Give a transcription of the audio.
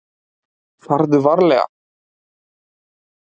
Farðu varlega!